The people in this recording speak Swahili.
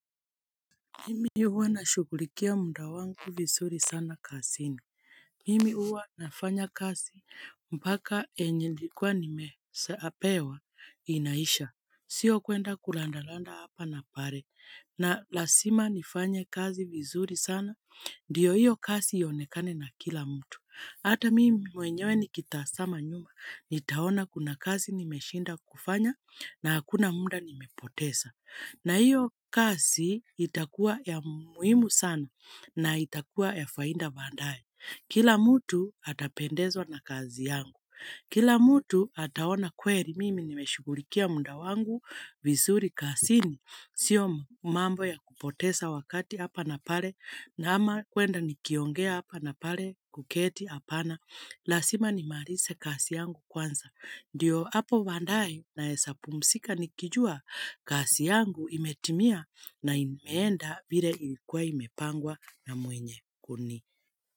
Mimi huwa nashughulikia muda wangu vizuri sana kazini. Mimi huwa nafanya kazi mpaka yenye nilikuwa nimeshapewa inaisha. Sio kwenda kurandaranda hapa na pale. Na lazima nifanye kazi vizuri sana. Ndio hiyo kazi ionekane na kila mtu. Hata mimi mwenyewe nikitazama nyuma. Nitaona kuna kazi nimeshinda kufanya na hakuna muda nimepoteza. Na hiyo kazi itakua ya muhimu sana na itakua ya faida baadaye. Kila mtu atapendezwa na kazi yangu. Kila mtu ataona kweli mimi nimeshugulikia muda wangu vizuri kazini. Sio mambo ya kupoteza wakati hapa na pale ama kwenda nikiongea hapa na pale kuketi hapana. Lazima nimalize kazi yangu kwanza. Ndiyo hapo baadaye naweza pumzika nikijua kazi yangu imetimia na imeenda vile ilikuwa imepangwa na mwenye kuni.